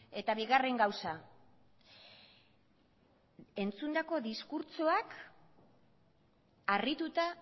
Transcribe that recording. eta bigarren gauza entzundako diskurtsoak harrituta